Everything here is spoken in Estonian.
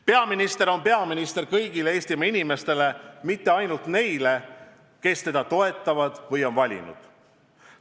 Peaminister on peaminister kõigile Eestimaa inimestele, mitte ainult neile, kes teda toetavad ja on tema poolt valimistel hääle andnud.